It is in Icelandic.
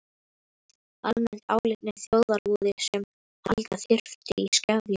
Almennt álitnir þjóðarvoði sem halda þyrfti í skefjum.